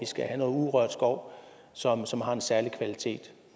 skal have noget urørt skov som som har en særlig kvalitet